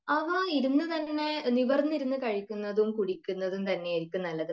ആഹാ, ഇരുന്നു തന്നെ നിവർന്നു ഇരുന്ന് കഴിക്കുന്നതും കുടിക്കുന്നതും തന്നെ ആയിരിക്കും നല്ലത്